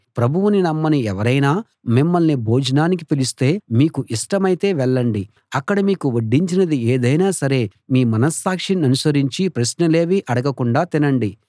ప్రభువుని నమ్మని ఎవరైనా మిమ్మల్ని భోజనానికి పిలిస్తే మీకు ఇష్టమైతే వెళ్ళండి అక్కడ మీకు వడ్డించినది ఏదైనా సరే మీ మనస్సాక్షి ననుసరించి ప్రశ్నలేవీ అడగకుండా తినండి